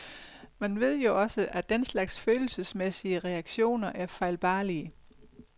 Men vi ved jo også, at den slags følelsesmæssige reaktioner er fejlbarlige.